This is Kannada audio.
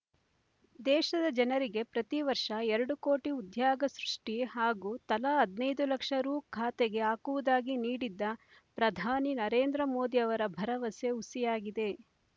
ದೇಶದ ಜನರಿಗೆ ಪ್ರತಿವರ್ಷ ಎರಡು ಕೋಟಿ ಉದ್ಯಗ ಸೃಷ್ಟಿ ಹಾಗೂ ತಲಾ ಹದಿನೈದು ಲಕ್ಷ ರೂ ಖಾತೆಗೆ ಹಾಕುವುದಾಗಿ ನೀಡಿದ್ದ ಪ್ರಧಾನಿ ನರೇಂದ್ರ ಮೋದಿ ಅವರ ಭರವಸೆ ಹುಸಿಯಾಗಿದೆ